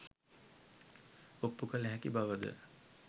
ඔප්පු කළ හැකි බවද?